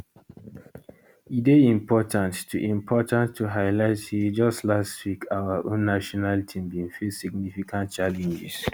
e dey important to important to highlight say just last week our own national team bin face significant challenges